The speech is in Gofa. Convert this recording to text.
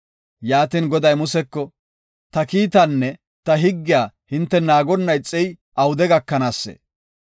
Yaatin, Goday Museko, “Ta kiitaanne ta higgiya hinte naagonna ixey awude gakanaasee?